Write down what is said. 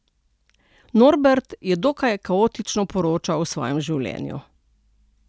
Norbert je dokaj kaotično poročal o svojem življenju.